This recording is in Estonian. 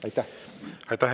Aitäh!